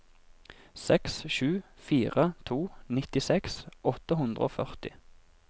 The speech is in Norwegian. seks sju fire to nittiseks åtte hundre og førti